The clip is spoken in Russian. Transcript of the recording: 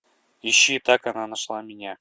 ищи так она нашла меня